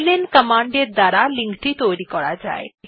LN command এর দ্বারা link টি তৈরী করা যায়